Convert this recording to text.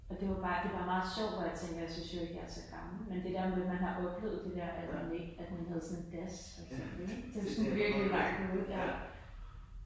Og det var bare det bare meget sjovt hvor jeg tænker jeg synes jo ikke jeg er så gammel men det der med man har oplevet at man ikke at man havde sådan das ik det jo sådan virkelig langt ude ik